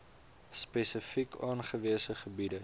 spesifiek aangewese gebiede